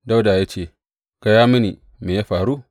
Dawuda ya ce, Gaya mini, me ya faru?